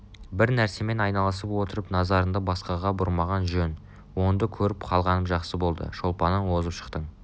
бір нәрсемен айналысып отырып назарынды басқаға бұрмаған жөн онынды көріп қалғаным жақсы болды шолпаннан озып шықтың